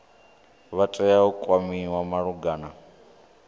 vha tea u kwamiwa malugana